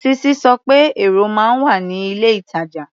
Sisi sọ pé èrò máa ń wà ní ilé-ìtàjà.